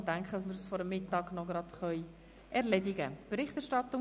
Ich denke, dass wir dieses vor dem Mittag noch erledigen nnen.